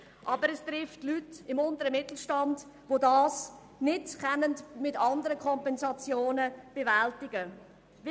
Aber es trifft Leute im unteren Mittelstand, die die Einbusse nicht mit anderen Kompensationen bewältigen können.